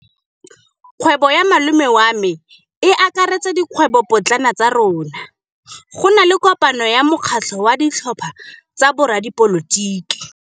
Kgwêbô ya malome wa me e akaretsa dikgwêbôpotlana tsa rona. Go na le kopanô ya mokgatlhô wa ditlhopha tsa boradipolotiki.